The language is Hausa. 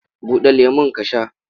Buɗe lemon ka sha!